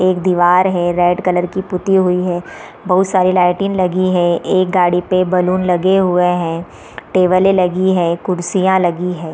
एक दीवार है रेड कलर की पुत्ती हुई है | बहुत सारी लाइटिंग लगी है | एक गाड़ी पे बैलून लगे हुए हैं टेबले लगी है कुर्सियां लगी है ।